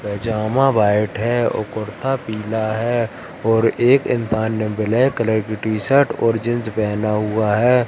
पजामा white है और कुर्ता पीला है और एक इंसान ने ब्लैक कलर की टी शर्ट और जींस पहना हुआ है।